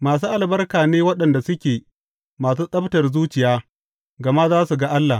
Masu albarka ne waɗanda suke masu tsabtar zuciya, gama za su ga Allah.